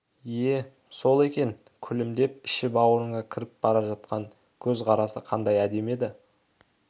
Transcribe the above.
ие сол екен күлімдеп іші-бауырыңа кіріп бара жатқан көз қарасы қандай әдемі еді